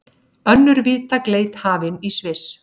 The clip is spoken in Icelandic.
Önnur víðtæk leit hafin í Sviss